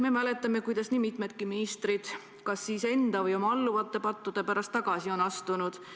Me mäletame, et nii mõnigi minister – kas siis enda või oma alluvate pattude pärast – on tagasi astunud.